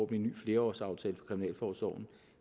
en ny flerårsaftale for kriminalforsorgen